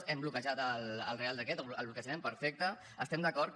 hem bloquejat el reial decret o el bloquejarem perfecte hi estem d’acord